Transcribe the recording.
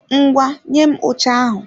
Ngwá, nye m oche ahụ!